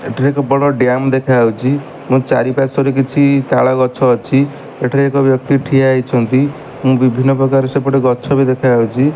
ଏଠାରେ ଏକ ବଡ ଡ୍ୟାମ ଦେଖାଯାଉଛି ଚରିପାର୍ଶ୍ୱରେ କିଛି ତାଳ ଗଛ ଅଛି। ଏଠାରେ ଏକ ବ୍ୟକ୍ତି ଠିଆ ହୋଇଛନ୍ତି ଏବଂ ବିଭିନ୍ନ ପ୍ରକାର ସେପଟେ ଗଛବି ଦେଖାଯାଉଛି।